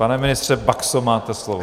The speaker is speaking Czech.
Pane ministře Baxo, máte slovo.